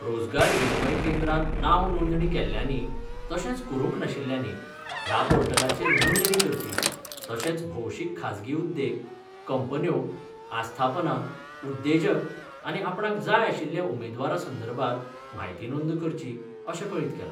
रोजगार विनियम केंद्रान नांव नोंदणी केल्ल्यांनी तशेंच करूंक नाशिल्ल्यांनी ह्या पोर्टलाचेर नोंदणी करची तशेंच भोवशीक खाजगी उद्देग, कंपन्यो, आस्थापनां, उद्देजक आनी आपणाक जाय आशिल्ल्या उमेदवारां संदर्भात म्हायती नोंद करची अशें कळीत केलां.